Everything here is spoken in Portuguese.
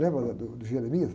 Lembra lá do, do?